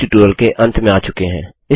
हम इस ट्यूटोरियल के अंत में आ चुके हैं